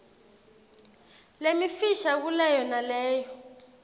lemifisha kuleyo naleyo